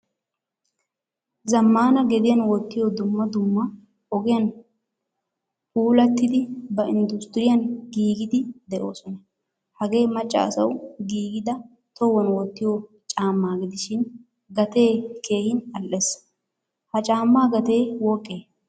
Zamaana gediyan wottiyo caama dumma dumma ogiyan puulattidi ba industriyan giigidi deosona. Hagee macca asawu giigida tohuwan wottiyo caama gidishin gatee keehin al"ees. Ha caamaa gatte woqqe?